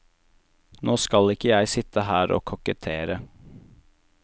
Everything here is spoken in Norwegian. Nå skal ikke jeg sitte her og kokettere.